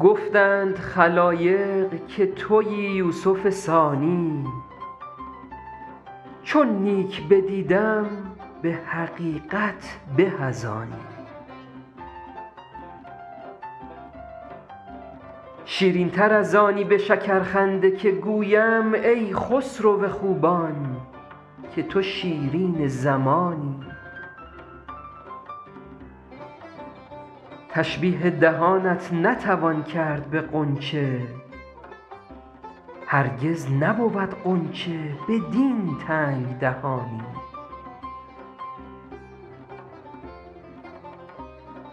گفتند خلایق که تویی یوسف ثانی چون نیک بدیدم به حقیقت به از آنی شیرین تر از آنی به شکرخنده که گویم ای خسرو خوبان که تو شیرین زمانی تشبیه دهانت نتوان کرد به غنچه هرگز نبود غنچه بدین تنگ دهانی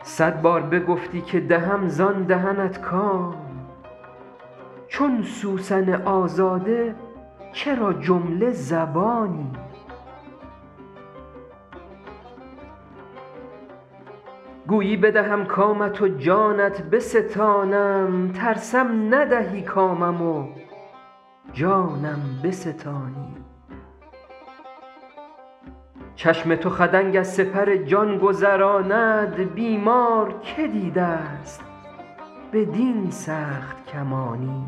صد بار بگفتی که دهم زان دهنت کام چون سوسن آزاده چرا جمله زبانی گویی بدهم کامت و جانت بستانم ترسم ندهی کامم و جانم بستانی چشم تو خدنگ از سپر جان گذراند بیمار که دیده ست بدین سخت کمانی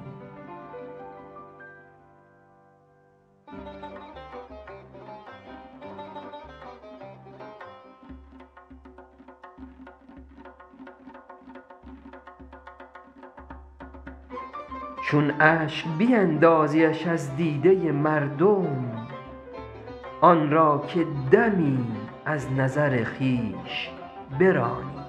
چون اشک بیندازیش از دیده مردم آن را که دمی از نظر خویش برانی